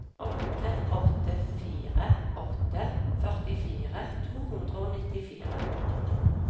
åtte åtte fire åtte førtifire to hundre og nittifire